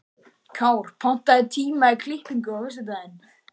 Kár, pantaðu tíma í klippingu á föstudaginn.